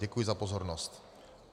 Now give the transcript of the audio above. Děkuji za pozornost.